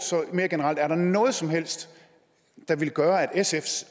mere generelt er der noget som helst der ville gøre at sf